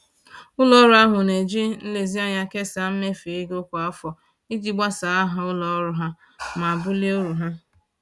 Ụlọ ọrụ ahụ na-eji nlezianya kesaa mmefu ego kwa afọ iji gbasaa aha ụlọ ọrụ ha ma bulie uru ha